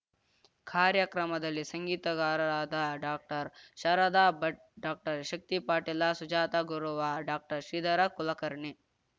ಕಾರ್ಯಕ್ರಮದಲ್ಲಿ ಸಂಗೀತಗಾರರಾದ doctor Sharada Bhat doctor Shakti Patil Sujata Gurav doctor Shridhar Kulkarni